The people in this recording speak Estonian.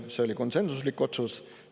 See oli konsensuslik otsus.